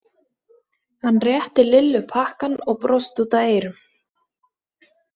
Hann rétti Lillu pakkann og brosti út að eyrum.